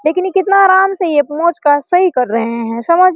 लेकिन कितना आराम से ये मोच का सही कर रहे है समझ में --